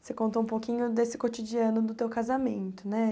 Você contou um pouquinho desse cotidiano do teu casamento, né?